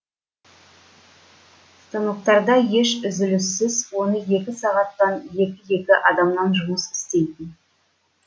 станоктарда еш үзіліссіз он екі сағаттан екі екі адамнан жұмыс істейтін